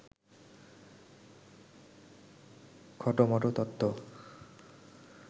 খটোমটো তত্ত্ব